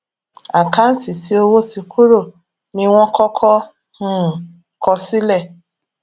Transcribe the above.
àkáǹtì tí owó ti kúrò ní wọn kọkọ um kọ sile